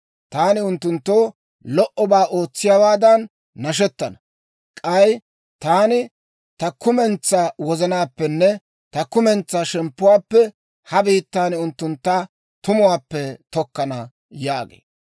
Taani unttunttoo lo"obaa ootsiyaawaadan nashettana; k'ay taani ta kumentsaa wozanaappenne ta kumentsaa shemppuwaappe ha biittan unttuntta tumuwaappe tokkana» yaagee.